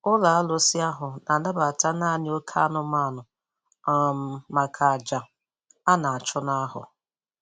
Ụlọ arụsị ahụ na-anabata naanị oké anụmanụ um maka àjà a na-achụ na afọ.